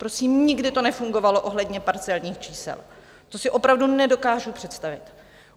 Prosím, nikdy to nefungovalo ohledně parcelních čísel, to si opravdu nedokážu představit.